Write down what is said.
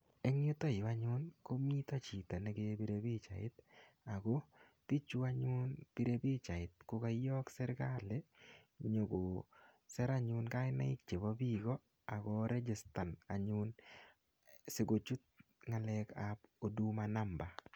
Eng yuto yu anyun komito chito me kepire pichait ago pichu anyun pire pichait ko koiyok sergali nyokosir anyun kainaik chebo biiko ak ko registan anyun sikochut ngalekab huduma namba.